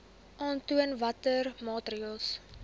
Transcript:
aantoon watter maatreëls